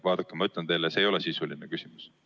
Vaadake, ma ütlen teile, see ei ole sisuline küsimus.